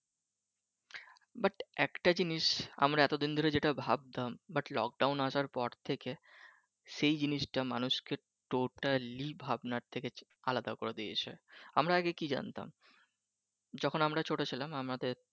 but একটা জিনিস আমরা এতো দিন ধরে যেটা ভাবতাম but lockdown আসার পর থেকে সে জিনিসটা মানুষকে totally ভাবনার থেকে আলাদা করে দিয়েছে আমরা আগে কি জানতাম যখন আমরা ছোট ছিলাম আমাদের